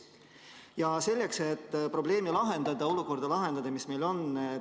Mis selleks, et probleemi lahendada, olukorda lahendada, kavas on?